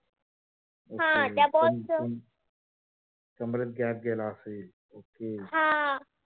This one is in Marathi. हा त्या ball च कमरेत gap गेला, okay